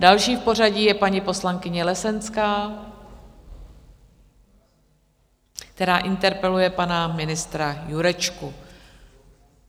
Další v pořadí je paní poslankyně Lesenská, která interpeluje pana ministra Jurečku.